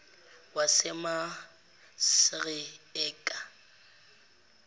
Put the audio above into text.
wasemasreeka